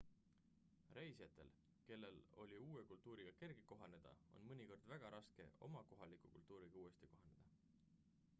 reisijatel kellel oli uue kultuuriga kerge kohaneda on mõnikord väga raske oma kohaliku kultuuriga uuesti kohaneda